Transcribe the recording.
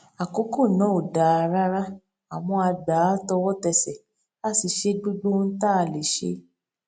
àkókò náà ò dáa rárá àmọ a gbà á tọwọtẹsẹ a sì ṣe gbogbo ohun tá a lè ṣe